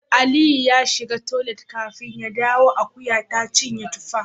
Aliyu ya shiga toilet kafin ya dawo akuya ta cinye tuffa